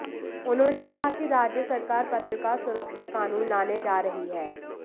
उन्होंने कहा कि राज्य सरकार पत्रकार सुरक्षा कानून लाने जा रही है